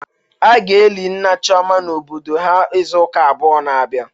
A ga-eli nna Chioma n'obodo ha izuụka abụọ na-abịa.